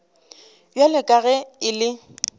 bjalo ka ge e le